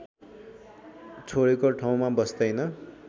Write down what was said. छोडेको ठाउँमा बस्दैन